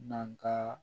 N'an ka